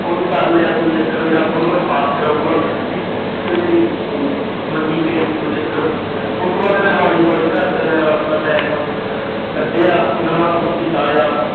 ਉਹਨੇ ਕਰ ਲਿਆ ਕੋਈ ਚੱਕਰ ਨੀ, ਰੱਬ ਉਹਨੂੰ ਇਹਸਾਸ ਕਰਵਾਉਗਾ, ਵੀ ਕਹਿੰਦੇ। ਮੈਂ ਕਿਹਾ ਜੀ ਠੀਕ ਆ ਕੋਈ ਚੱਕਰ ਨੀ, ਉਹਤੋਂ ਬਾਅਦ ਮੈਂ ਹੌਲੀ-ਹੌਲੀ ਘਰਦਿਆਂ ਨਾਲ ਆਪਣਾ time ਕੱਢਿਆ, ਉਹਨਾਂ ਨਾਲ ਬਿਤਾਇਆ।